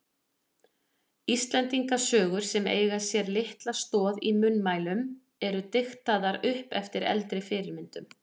Íslendingasögur sem eiga sér litla stoð í munnmælum eru diktaðar upp eftir eldri fyrirmyndum.